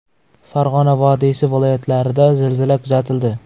Farg‘ona vodiysi viloyatlarida zilzila kuzatildi.